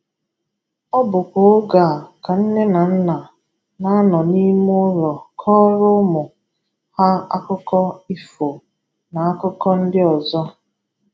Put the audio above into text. Ọ bụkwa oge a ka nne na nna na-anọ n’ime ụlọ kọọrọ ụmụ ha akụkọ ifo na akụkọ ndị ọzọ.